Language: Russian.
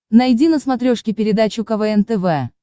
найди на смотрешке передачу квн тв